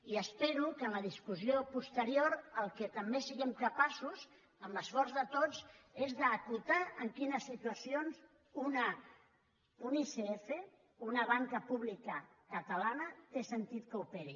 i espero que en la discussió posterior del que també siguem capaços amb l’esforç de tots és d’acotar en quines situacions un icf una banca pública catalana té sentit que operi